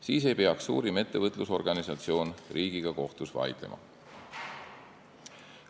Siis ei peaks suurim ettevõtlusorganisatsioon riigiga kohtus vaidlema.